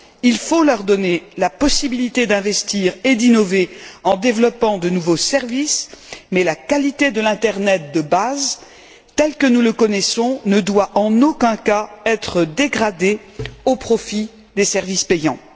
Il faut leur donner la possibilité d'investir et d'innover en développant de nouveaux services, mais la qualité de l'internet de base, tel que nous le connaissons, ne doit en aucun cas être dégradée au profit des services payants.